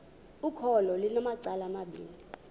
ukholo lunamacala amabini